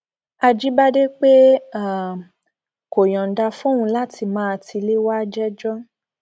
àjíbádé pé um kó yọǹda fóun láti máa tilẹ wáá jẹjọ